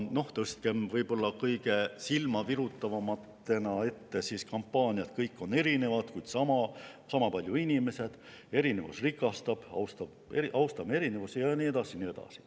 Tõstkem kõige silmavirutavamatena esile kampaaniaid "Kõik on erinevad, kuid sama palju inimesed", "Erinevus rikastab", "Austame erinevusi" ja nii edasi ja nii edasi.